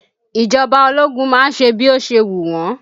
Ìjọba ológun má ń ṣe bí ó ṣe wù wọn